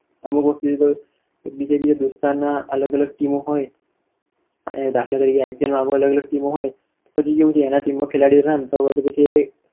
અમુક વખત તો બીજા બીજા દોસ્તારના ના અલગ અલગ team ઓ હોય અને દાખલા તરીકે IPL ની અલગ અલગ ટી team હોય, અને આની team નઆ ખેલાડીઓ નઆ રમત હોય તો પછી